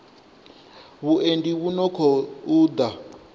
vhuendi vhu no khou ḓa